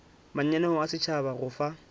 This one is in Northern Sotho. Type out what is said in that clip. mananeo a setšhaba go fa